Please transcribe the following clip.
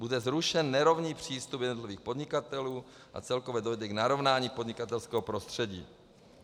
Bude zrušen nerovný přístup jednotlivých podnikatelů a celkově dojde k narovnání podnikatelského prostředí.